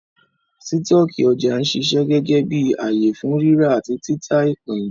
Sítọ̀kì ọjà ń ṣiṣẹ́ gẹ́gẹ́ bí ààyè fún ríra àti títà ìpín